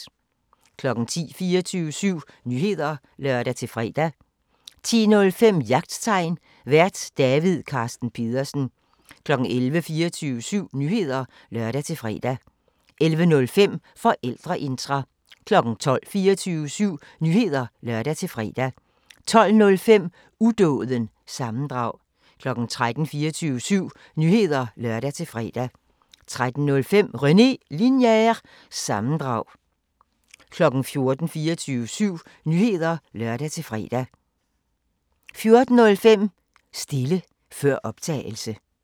10:00: 24syv Nyheder (lør-fre) 10:05: Jagttegn Vært: David Carsten Pedersen 11:00: 24syv Nyheder (lør-fre) 11:05: Forældreintra 12:00: 24syv Nyheder (lør-fre) 12:05: Udåden – sammendrag 13:00: 24syv Nyheder (lør-fre) 13:05: René Linjer- sammendrag 14:00: 24syv Nyheder (lør-fre) 14:05: Stile før optagelse